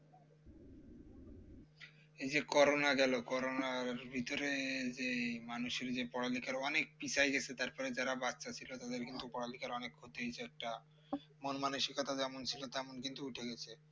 এইযে করোনা গেল করোনার ভিতরে যেই মানুষের যে পড়ালেখাটা অনেক পিছায় গেছে তারপরে যারা বাচ্চা ছিল তাদের কিন্তু অনেক ক্ষতি হয়েছে মনমানসিকতা যেমন ছিল তেমন কিন্তু উঠে গেছে